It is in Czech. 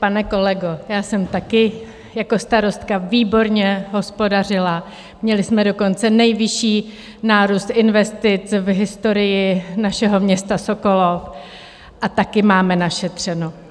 Pane kolego, já jsem také jako starostka výborně hospodařila, měli jsme dokonce nejvyšší nárůst investic v historii našeho města Sokolov a také máme našetřeno.